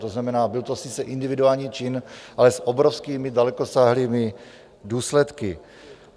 To znamená, byl to sice individuální čin, ale s obrovskými, dalekosáhlými důsledky.